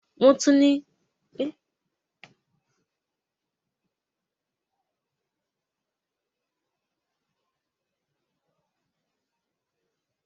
Wọ́n tún pèsè ẹ̀kọ́ àti ìdánilẹ́kọ̀ọ́ láti ran àwọn ènìyàn tí wọ́n ní ẹ̀tẹ̀ lọ́wọ́ láti gbé ìgbé ayé òmìnira.